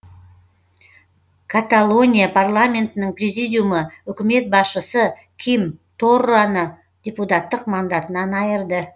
каталония парламентінің президиумы үкімет басшысы ким торраны депутаттық мандатынан айырды